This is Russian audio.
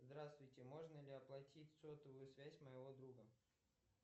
здравствуйте можно ли оплатить сотовую связь моего друга